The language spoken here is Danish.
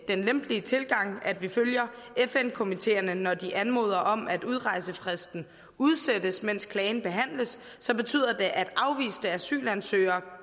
den lempelige tilgang at vi følger fn komiteerne når de anmoder om at udrejsefristen udsættes mens klagen behandles så betyder det at afviste asylansøgere